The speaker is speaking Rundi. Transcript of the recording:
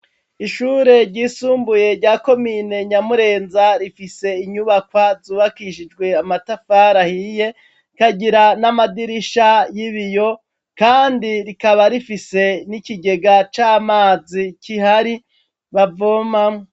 Ishure ryisumbuye rya komine Nyamurenza, rifise inyubaka zubakishijwe amatafari ahiye kagira n'amadirisha y'ibiyo kandi rikaba rifise n'ikigega c'amazi kihari bavomamwo.